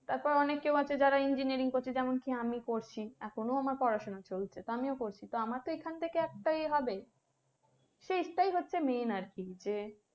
তারপরে অনেকেও যারা engineering করছে যেমন কি আমি করছি এখনও আমার পড়াশোনা চলছে তো আমিও করছি তো আমারও তো এখান থেকে একটা ইয়ে হবে তো সেটাই হচ্ছে main আরকি যে